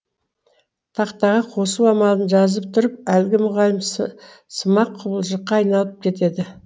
тақтаға қосу амалын жазып тұрып әлгі мұғалім сымақ құбыжыққа айналып кетеді